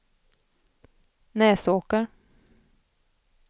Näsåker